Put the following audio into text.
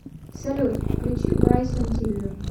салют включи брайсон тиллер